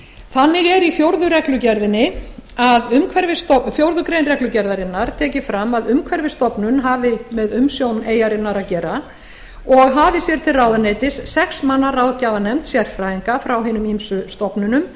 þannig er í fjórða grein reglugerðarinnar tekið fram að umhverfisstofnun hafi með umsjón eyjarinnar að gera og hafi til ráðuneytis sex manna ráðgjafarnefnd sérfræðinga frá hinum ýmsu stofnunum